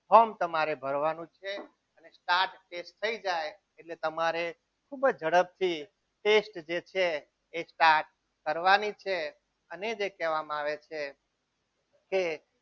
form તમારે ભરવાનું છે ને start જે થઈ જાય એટલે તમારે ખૂબ જ ઝડપથી test જે છે એ કરવાની છે અને જે કહેવામાં આવે છે કે